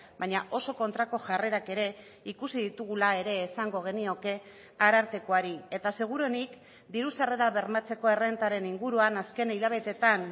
baina oso kontrako jarrerak ere ikusi ditugula ere esango genioke arartekoari eta seguruenik diru sarrerak bermatzeko errentaren inguruan azken hilabeteetan